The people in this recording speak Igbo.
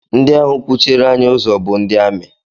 Ndị ahụ kwụchiere anyị ụzọ bụ ndị amị